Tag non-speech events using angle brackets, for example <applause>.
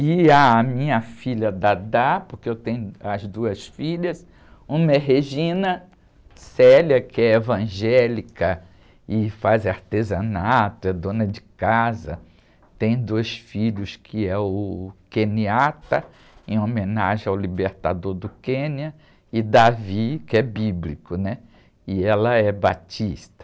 E a minha filha, <unintelligible> porque eu tenho as duas filhas, uma é, <unintelligible> que é evangélica e faz artesanato, é dona de casa, tem dois filhos, que é o, <unintelligible> em homenagem ao libertador do Quênia, e, <unintelligible> que é bíblico, né? E ela é batista.